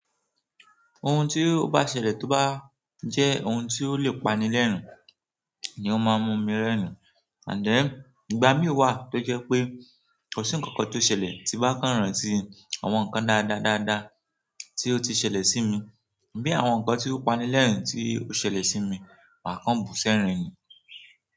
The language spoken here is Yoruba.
Ohun tí ó bá ṣẹlẹ̀ tó bá jẹ́ ohun tí ó lè pani lẹ́rin iyen máa ń mú mi rẹ́rìn. Ànd then, ìgbà mí wà tó jẹ́ pé kò sí ǹkankan tó ṣẹlẹ̀ tí bá kàn rántí àwọn ǹkan dáadáa dáadáa tí ó ti ṣẹlẹ̀ sí mi bí àwọn ǹkan tí ó pani lẹ́rìn tí ó ṣẹlẹ̀ sí mi máa kan bù ṣẹ́rìn-ín.